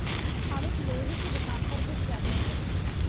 हामिद लोहे की दुकान पर रुक जाता है